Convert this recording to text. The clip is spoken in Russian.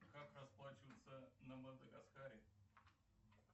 как расплачиваться на мадагаскаре